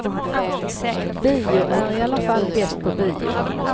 Bio är i alla fall bäst på bio.